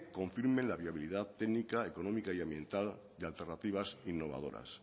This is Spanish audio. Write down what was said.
confirmen la viabilidad técnica económica y ambiental de alternativas innovadoras